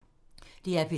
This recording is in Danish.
DR P3